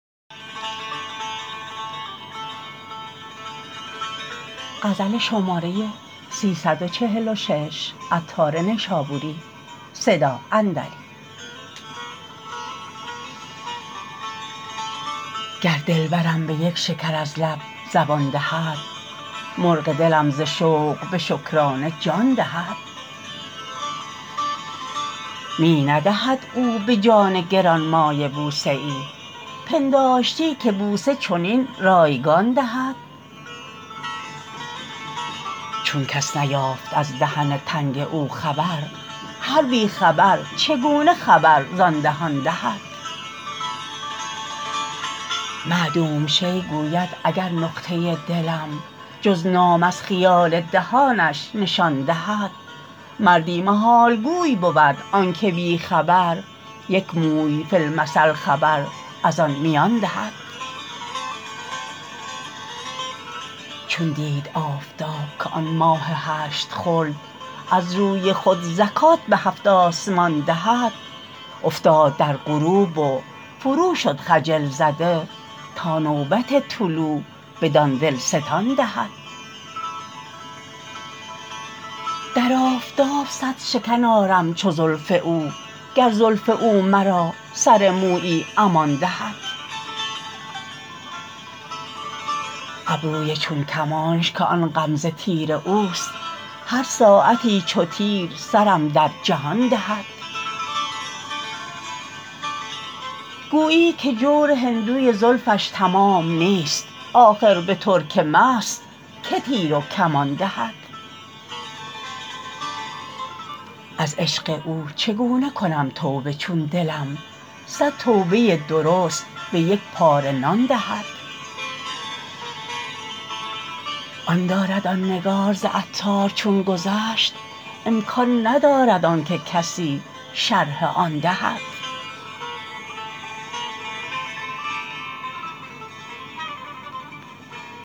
گر دلبرم به یک شکر از لب زبان دهد مرغ دلم ز شوق به شکرانه جان دهد می ندهد او به جان گرانمایه بوسه ای پنداشتی که بوسه چنین رایگان دهد چون کس نیافت از دهن تنگ او خبر هر بی خبر چگونه خبر زان دهان دهد معدوم شیء گوید اگر نقطه دلم جز نام از خیال دهانش نشان دهد مردی محال گوی بود آنکه بی خبر یک موی فی المثل خبر از آن میان دهد چون دید آفتاب که آن ماه هشت خلد از روی خود زکات به هفت آسمان دهد افتاد در غروب و فرو شد خجل زده تا نوبت طلوع بدان دلستان دهد در آفتاب صد شکن آرم چو زلف او گر زلف او مرا سر مویی امان دهد ابروی چون کمانش که آن غمزه تیر اوست هر ساعتی چو تیر سرم در جهان دهد گویی که جور هندوی زلفش تمام نیست آخر به ترک مست که تیر و کمان دهد از عشق او چگونه کنم توبه چون دلم صد توبه درست به یک پاره نان دهد آن درد آن نگار ز عطار چون گذشت امکان ندارد آنکه کسی شرح آن دهد